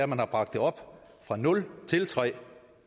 man har bragt det op fra nul til tredje